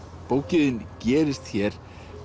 bókin þín gerist hér